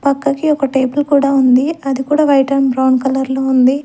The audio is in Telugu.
పక్కకి ఒక టేబుల్ కూడా ఉంది అది కూడా వైట్ ఆండ్ బ్రౌన్ కలర్ లో ఉంది.